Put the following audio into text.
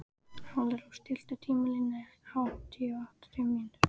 Alparós, stilltu tímamælinn á áttatíu og átta mínútur.